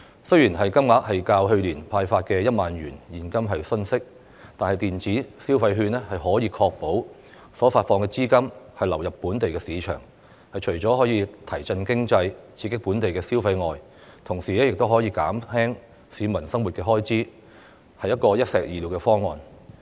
雖然金額較去年派發現金的1萬元遜色，但在執行上卻可確保發放的資金流入本地市場。除可提振經濟、刺激本地消費外，亦可以減輕市民的生活開支，是一箭雙鵰的方案。